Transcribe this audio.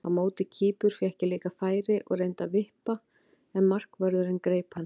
Á móti Kýpur fékk ég líka færi og reyndi að vippa en markvörðurinn greip hann.